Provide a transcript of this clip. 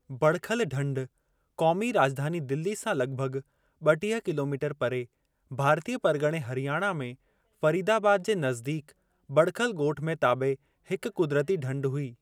बड़खल ढंढु क़ौमी राज॒धानी दिल्ली सां लॻिभॻि ब॒टीह किलोमीटर परे, भारतीय परगि॒णे हरियाणा में फरीदाबाद जे नज़दीकु बड़खल ॻोठु में ताबिअ हिकु कु़दरती ढंढु हुई।